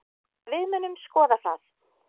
Við munum skoða það.